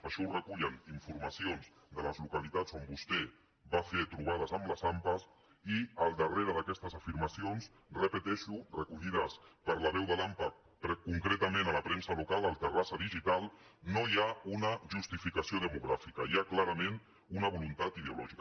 això ho recullen informacions de les localitats on vostè va fer trobades amb les ampa i al darrere d’aquestes afirmacions ho repeteixo recollides per la veu de l’ampa concretament a la premsa local al terrassa digital una justificació demogràfica hi ha clarament una voluntat ideològica